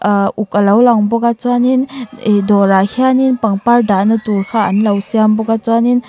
aa uk a lo lang bawk a chuan in dawr ah hian in pangpar dah na tur kha anlo siam bawk a chuan in--